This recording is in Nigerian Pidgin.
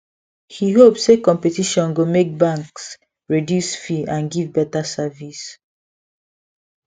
he hope say competition go make banks reduce fee and give better service